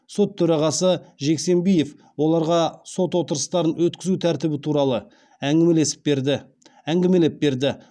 сот төрағасы жексембиев оларға сот отырыстарын өткізу тәртібі туралы әңгімелеп берді